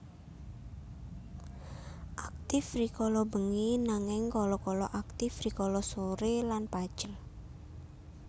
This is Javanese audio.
Aktif rikala bengi nanging kala kala aktif rikala sore lan pajar